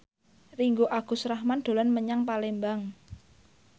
Ringgo Agus Rahman dolan menyang Palembang